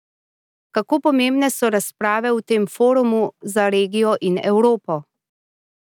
Kako pomembne so razprave v tem forumu za regijo in Evropo?